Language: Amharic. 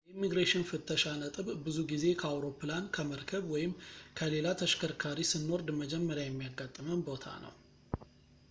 የኢሚግሬሽን ፍተሻ ነጥብ ብዙ ጊዜ ከአውሮፕላን ከመርከብ ወይም ከሌላ ተሽከርካሪ ስንወርድ መጀመሪያ የሚያጋጥመን ቦታ ነው